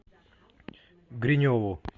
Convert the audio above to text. гриневу